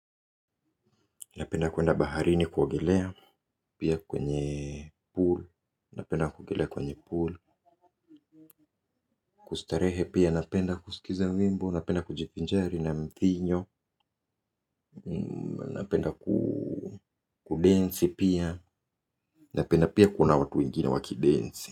Napenda kuenda baharini kuogelea pia kwenye pool. Napenda kuogelea kwenye pool. Kustarehe pia napenda kusikiza wimbo. Napenda kujivinjari na mvinyo napenda kudensi pia, napenda pia kuona watu wengine wakidensi.